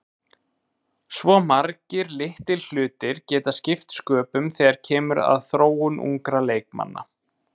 Svo margir litlir hlutir geta skipt sköpum þegar kemur að þróun ungra leikmanna.